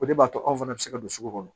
O de b'a to anw fana bɛ se ka don sugu kɔnɔ